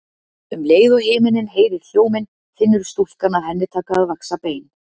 Um leið og himinninn heyrir hljóminn finnur stúlkan að henni taka að vaxa bein.